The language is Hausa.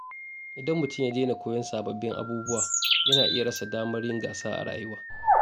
Idan mutum ya daina koyon sababbin abubuwa, yana iya rasa damar yin gasa a rayuwa.